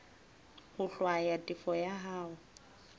ho hlwaya tefo ya hao